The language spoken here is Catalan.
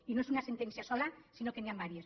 i no és una sentència sola sinó que n’hi ha diverses